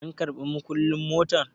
an karɓI mukullin motar?